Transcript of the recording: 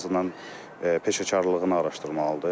Ən azından peşəkarlığını araşdırmalıdır.